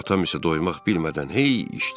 Atam isə doymaq bilmədən hey içdi.